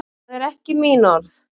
Það eru ekki mín orð.